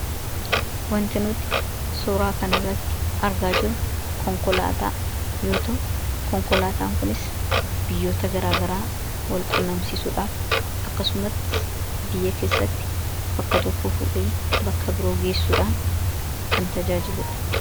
wanti nuuti suuraa kan irratti argaa jiru konkolaataa yoo ta'u konkolaataan kunis biyyoota garaagaraa wal qunnamsisuudhaaf akkasuma biyya keessatti bakka tokko fuudhee bakka biroo geessuudhaan kan tajaajiluudha